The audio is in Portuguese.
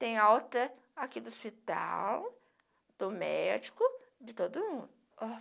Tem alta aqui do hospital, do médico, de todo mundo.